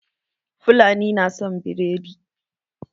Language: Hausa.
Fulani na son biredi